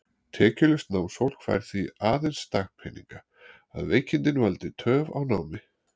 Tekjulaust námsfólk fær því aðeins dagpeninga, að veikindin valdi töf á námi.